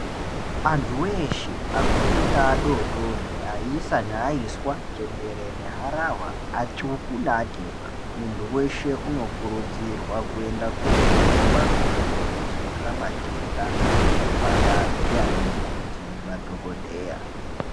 Antu weshe akuru be adodori, ayisa ne ayiswa, chembere nehharawa, atsuku ne atema, muntu weshe unokurudzirwa, kuyenda kojungwa mitombo yekudziyirira matenda kuzvipatara ndi anamukoti nemadhokodheya.